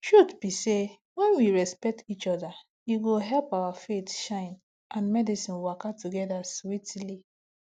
truth be say when we respect each other e go help our faith shine and medicine waka together sweetly